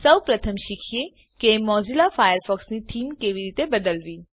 સૌપ્રથમ શીખીએ કે મોઝીલા ફાયરફોક્સની થીમ કેવી રીતે બદલવી